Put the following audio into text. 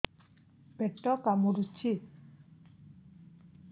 ପେଟ କାମୁଡୁଛି